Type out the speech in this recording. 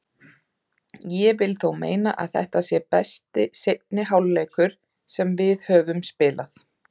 Ég vil þó meina að þetta sé besti seinni hálfleikur sem við höfum spilað.